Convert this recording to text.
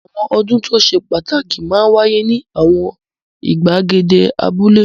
Àwọn ọdún tó ṣe pàtàkì máa ń wáyé ní àwọn ìgbàgede abúlé.